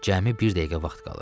Cəmi bir dəqiqə vaxt qalıb.